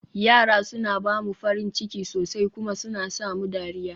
yara suna ba mu farin ciki sosai kuma suna sa mu dariya